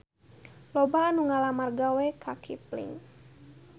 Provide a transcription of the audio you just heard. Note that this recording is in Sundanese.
Loba anu ngalamar gawe ka Kipling